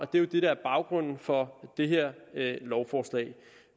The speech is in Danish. det der er baggrunden for det her lovforslag